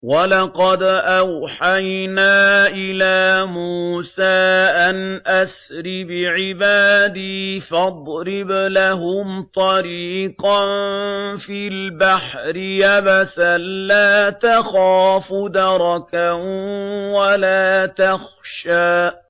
وَلَقَدْ أَوْحَيْنَا إِلَىٰ مُوسَىٰ أَنْ أَسْرِ بِعِبَادِي فَاضْرِبْ لَهُمْ طَرِيقًا فِي الْبَحْرِ يَبَسًا لَّا تَخَافُ دَرَكًا وَلَا تَخْشَىٰ